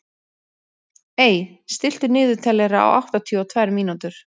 Ey, stilltu niðurteljara á áttatíu og tvær mínútur.